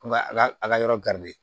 Ko n ka a ka a ka yɔrɔ